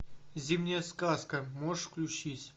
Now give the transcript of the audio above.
зимняя сказка можешь включить